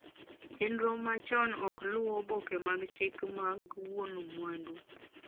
chenro machon ok luu oboke mag chik mag wuon mwandu